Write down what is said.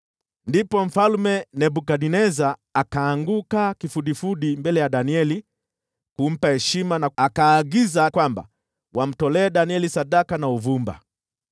Ndipo Mfalme Nebukadneza akaanguka kifudifudi mbele ya Danieli kumpa heshima, akaagiza wamtolee Danieli sadaka na uvumba.